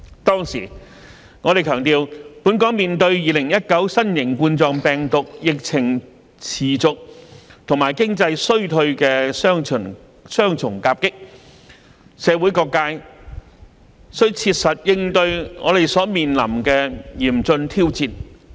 當時，我們強調，本港面對2019新型冠狀病毒疫情持續和經濟衰退的雙重夾擊，社會各界須切實應對我們所面臨的嚴峻挑戰。